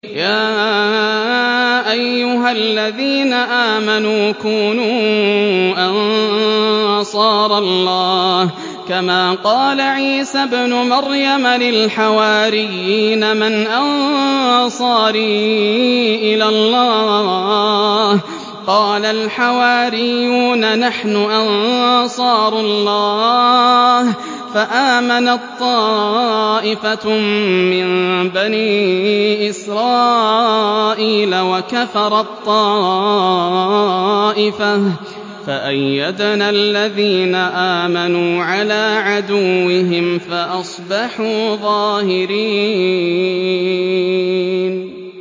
يَا أَيُّهَا الَّذِينَ آمَنُوا كُونُوا أَنصَارَ اللَّهِ كَمَا قَالَ عِيسَى ابْنُ مَرْيَمَ لِلْحَوَارِيِّينَ مَنْ أَنصَارِي إِلَى اللَّهِ ۖ قَالَ الْحَوَارِيُّونَ نَحْنُ أَنصَارُ اللَّهِ ۖ فَآمَنَت طَّائِفَةٌ مِّن بَنِي إِسْرَائِيلَ وَكَفَرَت طَّائِفَةٌ ۖ فَأَيَّدْنَا الَّذِينَ آمَنُوا عَلَىٰ عَدُوِّهِمْ فَأَصْبَحُوا ظَاهِرِينَ